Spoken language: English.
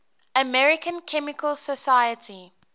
american chemical society